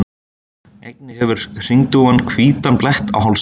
Einnig hefur hringdúfan hvítan blett á hálsinum.